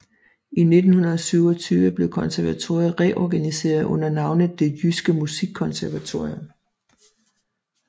I 1927 blev konservatoriet reorganiseret under navnet Det Jyske Musikkonservatorium